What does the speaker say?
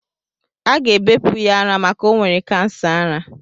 Aga ebepụ ya ara maka o nwere kansa ara.